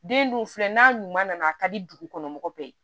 Den dun filɛ n'a ɲuman nana a ka di dugukɔnɔgɔ bɛɛ ye